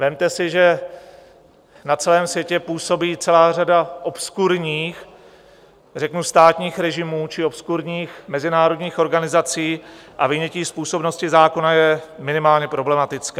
Vezměte si, že na celém světě působí celá řada obskurních řeknu státních režimů či obskurních mezinárodních organizací a vynětí z působnosti zákona je minimálně problematické.